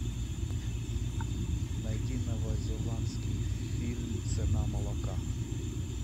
найди новозеландский фильм цена молока